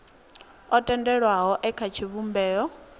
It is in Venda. o tendelwaho e kha tshivhumbeo